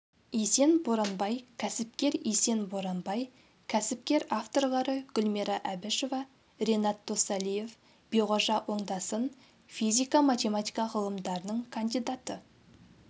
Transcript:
есен боранбай кәсіпкер есен боранбай кәсіпкер авторлары гүлмира әбішева ренат досалиев биғожа оңдасын физика-математика ғылымдарының кандидаты